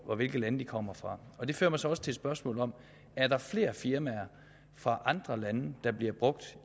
og hvilke lande de kommer fra det fører mig så også til spørgsmålet er der flere firmaer fra andre lande der bliver brugt